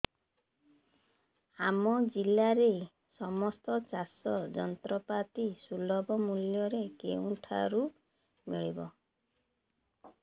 ଆମ ଜିଲ୍ଲାରେ ସମସ୍ତ ଚାଷ ଯନ୍ତ୍ରପାତି ସୁଲଭ ମୁଲ୍ଯରେ କେଉଁଠାରୁ ମିଳିବ